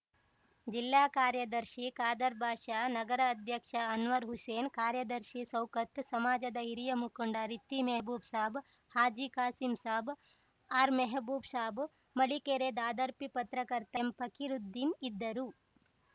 ಜಿಲ್ಲಾ ಕಾರ್ಯದರ್ಶಿ ಖಾದರ್‌ ಬಾಷಾ ನಗರ ಅಧ್ಯಕ್ಷ ಅನ್ವರ್‌ ಹುಸೇನ್‌ ಕಾರ್ಯದರ್ಶಿ ಶೌಕತ್‌ ಸಮಾಜದ ಹಿರಿಯ ಮುಖಂಡ ರಿತ್ತಿ ಮೆಹಬೂಬ್‌ ಸಾಬ್‌ ಹಾಜಿ ಖಾಸಿಂ ಸಾಬ್‌ ಆರ್‌ಮೆಹಬೂಬ್‌ ಸಾಬ್‌ ಮಳಿಕೆರೆ ದಾದಾರ್ಪೀ ಪತ್ರಕರ್ತ ಎಂಫಕಿರುದ್ದೀನ್‌ ಇದ್ದರು